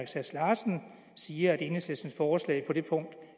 sass larsen siger at enhedslistens forslag på det punkt